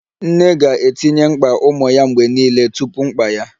Nne ga-etinye mkpa ụmụ ya mgbe niile tupu mkpa ya